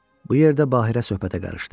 Bu yerdə Baheerə söhbətə qarışdı.